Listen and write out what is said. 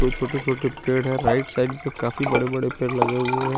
दो छोटे छोटे पेड़ है राईट साइड भी काफी बड़े बड़े पेड़ लगे हुए है।